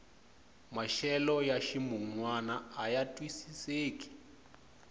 maxelo ya ximunwana aya twisiseki